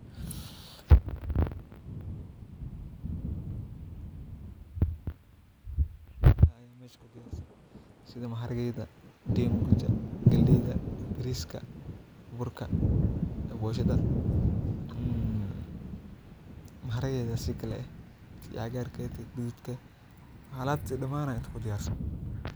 Sitha maharagedha galeyda bariska burka iyo boshaada ee maharagedha aya sikale eh tan cagarka eh alabta daman aya inta kudiyarsan.